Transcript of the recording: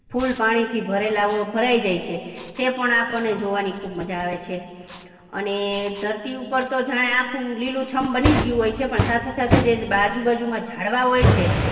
full પાણીથી ભરેલા હોય, ભરાઈ જાય છે તે પણ આપણને જોવાની ખુબ મજા આવે છે અને ધરતી ઉપર તો જાણે આખું લીલુંછમ બની જ ગયું હોય છે પણ સાથે સાથે જે આજુબાજુમાં ઝાડવા હોય છે